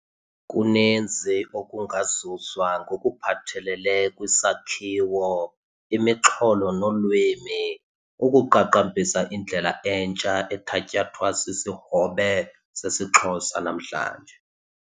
Kuninzi okungazuzwa ngokuphathelele kwisakhiwo, imixholo nolwimi, ukuqaqambisa indlela entsha ethatyathwa sisihobe sesiXhosa namhlanje.